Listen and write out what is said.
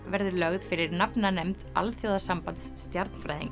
verður lögð fyrir alþjóðasambands